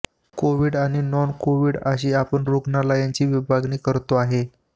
Covid आणि non covid अशी आपण रुग्णालयांची विभागणी करतो आहे